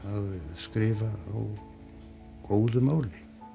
skrifa á góðu máli